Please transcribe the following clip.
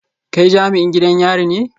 Kai jami'in gidan yari ne?